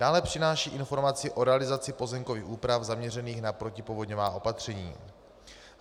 Dále přináší informaci o realizaci pozemkových úprav zaměřených na protipovodňová opatření.